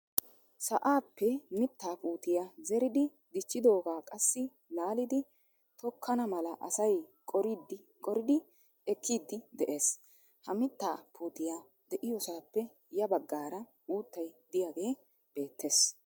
Sa'aappe miitaa puutiyaa zeeridi dichchidogaa qassi laalidi tokkana mala asay qoridi ekkiidi de'ees. ha mittaa puutiyaa de'iyoosappe ya baggaara uuttay diyaagee beettees.